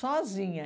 Sozinha.